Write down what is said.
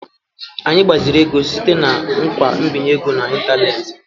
Anyị gbaziri ego site na ngwa nbinye ego n'ịntanetị.